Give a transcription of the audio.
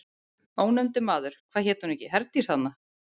Ónefndur maður: Hvað heitir hún ekki Herdís, þarna?